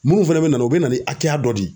Mun fɛnɛ bɛ na o bɛ na ni hakɛya dɔ de ye.